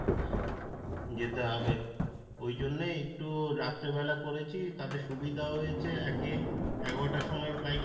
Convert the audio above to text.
যেতে হবে ওই জন্যেই একটু রাত্রে বেলা করেছি তাতে সুবিধাও হয়েছে একে এগারোটা র সময় flight